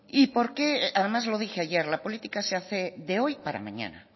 además lo dije ayer la política se hace de hoy para mañana